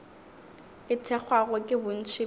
e thekgwago ke bontši bja